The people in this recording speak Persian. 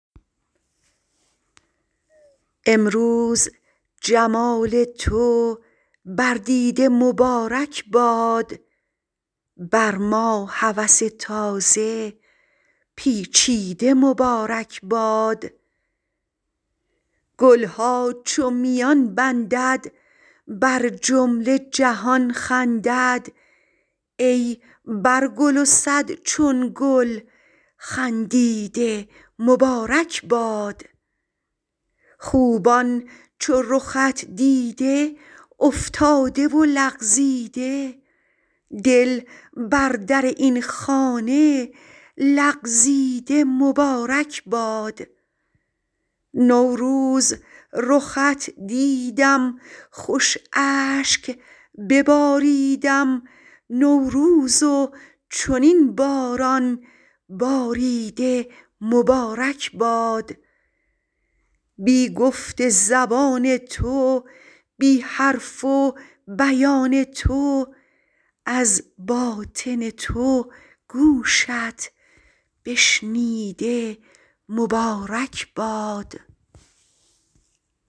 امروز جمال تو بر دیده مبارک باد بر ما هوس تازه پیچیده مبارک باد گل ها چون میان بندد بر جمله جهان خندد ای پرگل و صد چون گل خندیده مبارک باد خوبان چو رخت دیده افتاده و لغزیده دل بر در این خانه لغزیده مبارک باد نوروز رخت دیدم خوش اشک بباریدم نوروز و چنین باران باریده مبارک باد بی گفت زبان تو بی حرف و بیان تو از باطن تو گوشت بشنیده مبارک باد